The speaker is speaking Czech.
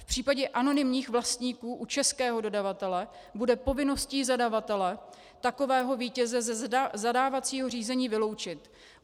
V případě anonymních vlastníků u českého dodavatele bude povinností zadavatele takového vítěze ze zadávacího řízení vyloučit.